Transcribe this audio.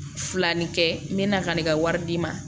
Filanni kɛ n bɛ na ka ne ka wari d'i ma